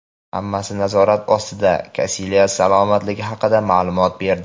"Hammasi nazorat ostida" – Kasilyas salomatligi haqida maʼlumot berdi.